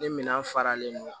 Ni minɛn faralen don kan